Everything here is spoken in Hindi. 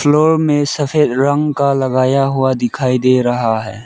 फ्लोर में सफेद रंग का लगाया हुआ दिखाई दे रहा है।